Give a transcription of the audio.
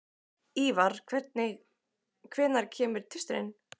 Ívar, hvenær kemur tvisturinn?